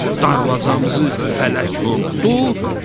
Darvazamızı fələk vurdu!